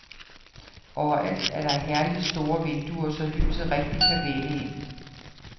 Overalt er der herligt store vinduer, så lyset rigtig kan vælde ind.